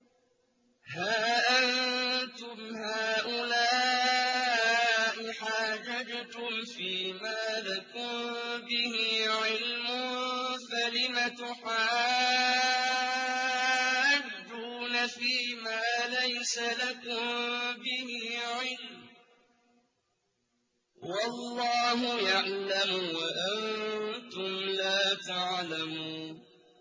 هَا أَنتُمْ هَٰؤُلَاءِ حَاجَجْتُمْ فِيمَا لَكُم بِهِ عِلْمٌ فَلِمَ تُحَاجُّونَ فِيمَا لَيْسَ لَكُم بِهِ عِلْمٌ ۚ وَاللَّهُ يَعْلَمُ وَأَنتُمْ لَا تَعْلَمُونَ